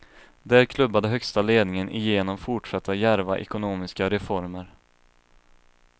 Där klubbade högsta ledningen igenom fortsatta djärva ekonomiska reformer.